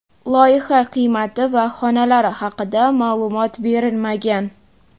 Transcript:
Loyiha qiymati va xonalari haqida ma’lumot berilmagan.